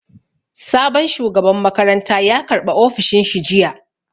Sabon shugaban makaranta ya karɓa ofishin shi jiya